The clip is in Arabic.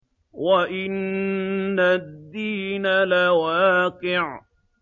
وَإِنَّ الدِّينَ لَوَاقِعٌ